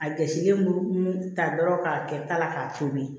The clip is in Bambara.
A jɛsilen mugu mun ta dɔrɔn k'a kɛ ta la k'a tobi